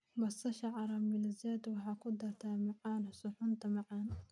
Basasha caramelized waxay ku dartaa macaan suxuunta macaan.